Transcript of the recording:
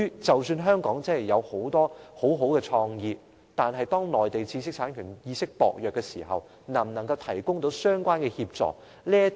即使香港極有創意，但若內地的知識產權意識仍舊薄弱，那麼內地能否真的提供相關協助？